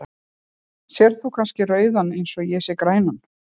Sérð þú kannski rauðan eins og ég sé grænan?.